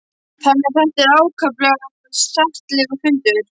Þannig að þetta var ákaflega settlegur fundur.